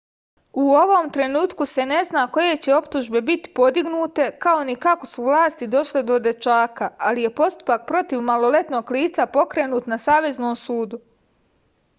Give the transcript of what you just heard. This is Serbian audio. u ovom trenutku se ne zna koje će optužbe biti podignute kao ni kako su vlasti došle do dečaka ali je postupak protiv maloletnog lica pokrenut na saveznom sudu